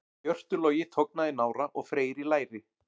Hjörtur Logi tognaði í nára og Freyr í læri.